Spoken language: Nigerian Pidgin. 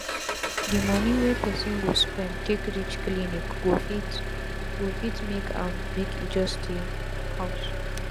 d moni wey persin go spend take reach clinic go fit go fit make am make e just stay house